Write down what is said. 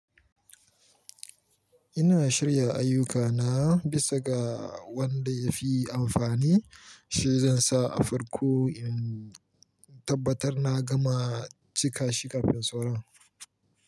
Ina shirya ayyukana bisa ga wanda ya fi amfani, shi zan sa a farko in tabbatar na gama cika shi kafin sauran.